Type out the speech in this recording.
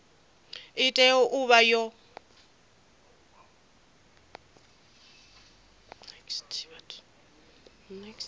i tea u vha yo